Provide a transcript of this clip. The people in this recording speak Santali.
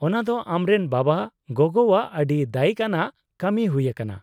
-ᱚᱱᱟ ᱫᱚ ᱟᱢᱨᱮᱱ ᱵᱟᱵᱟᱼᱜᱚᱜᱚᱣᱟᱜ ᱟᱹᱰᱤ ᱫᱟᱹᱭᱤᱠ ᱟᱱᱟᱜ ᱠᱟᱹᱢᱤ ᱦᱩᱭ ᱟᱠᱟᱱᱟ ᱾